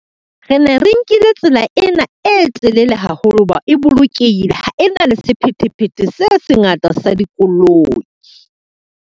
Re ne re nkile tsela ena e telele haholo ho ba e bolokehile, ha e na le sephethephethe se sengata sa dikoloi.